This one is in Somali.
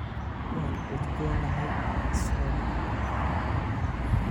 Waan udgoonnahay, saw maaha?